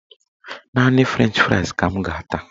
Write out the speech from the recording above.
Naanị frenchị frais ka m ga-ata